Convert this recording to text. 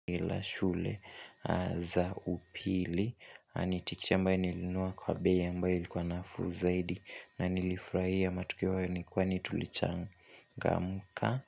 Ila shule za upili Nitikisha ambae nilinunua kwa bei ambae ilikuwa nafuu zaidi na nilifraia matukio hayo nikuwa tulicha ngamuka.